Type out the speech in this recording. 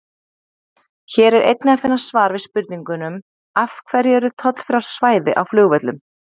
Hér er einnig að finna svar við spurningunum: Af hverju eru tollfrjáls svæði á flugvöllum?